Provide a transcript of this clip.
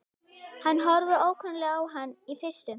Hann horfir ókunnuglega á hann í fyrstu.